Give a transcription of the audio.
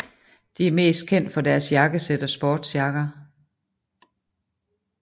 De er mest kendt for deres jakkesæt og sportsjakker